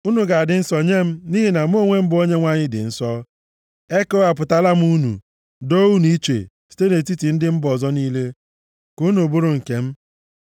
Unu ga-adị nsọ nye m, nʼihi na mụ, bụ Onyenwe anyị, dị nsọ. Ekewapụtala m unu, doo unu iche, site nʼetiti ndị mba ọzọ niile, ka unu bụrụ nke m.